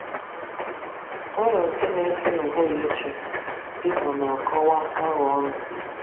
Aro nke n'efe n'ụhụrụ chi, dika ọna akọwa Agha ọnụ